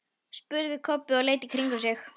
spurði Kobbi og leit í kringum sig.